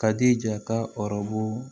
Ka di jata rɔbu